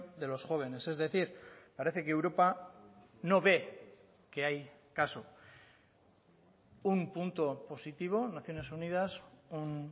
de los jóvenes es decir parece que europa no ve que hay caso un punto positivo naciones unidas un